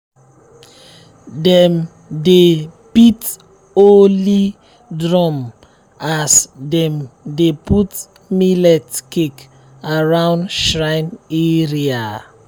dem dey beat holy drum as dem dey put millet cake around shrine area.